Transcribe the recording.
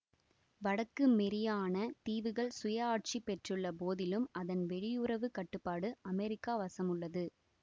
வடக்கு மெரியானா தீவுகள் சுய ஆட்சி பெற்றுள்ள போதிலும் அதன் வெளியுறவு கட்டுப்பாடு அமேரிக்கா வசமுள்ளது